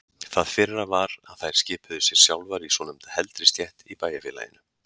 Það fyrra var að þær skipuðu sér sjálfar í svonefnda heldri stétt í bæjarfélaginu.